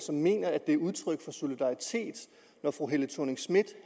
han mener det er udtryk for solidaritet at fru helle thorning schmidt